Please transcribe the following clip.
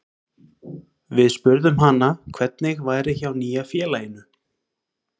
Við spurðum hana hvernig væri hjá nýja félaginu?